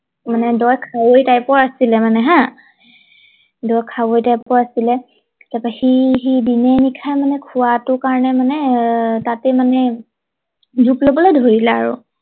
মানে দ খাৱৈ টাইপৰ আছিলে মানে হা দ খাৱৈ টাইপৰ আছিলে তাৰ পৰা সি সি দিনে নিশায় মানে খোৱাটোৰ কাৰণে মানে আহ তাতে মানে জুপ লবলৈ ধৰিলে আৰু